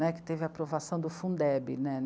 Né, que teve a aprovação do Fundeb, né?